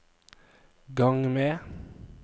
gang med